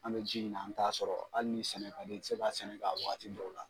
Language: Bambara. An bɛ ji ɲini an t'a sɔrɔ hali ni sɛnɛ ka d'i ye i ti se ka sɛnɛ kɛ a waati dɔw la.